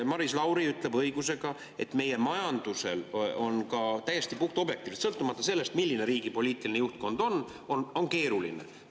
Maris Lauri ütleb õigusega, et meie majanduse olukord on ka täiesti puhtobjektiivselt, sõltumata sellest, milline on riigi poliitiline juhtkond, keeruline.